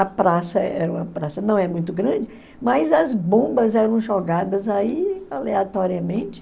A praça era uma praça, não é muito grande, mas as bombas eram jogadas aí aleatoriamente.